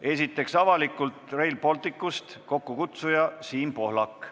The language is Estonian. Esiteks, Avalikult Rail Balticust, kokkukutsuja on Siim Pohlak.